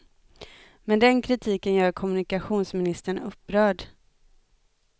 Men den kritiken gör kommunikationsministern upprörd.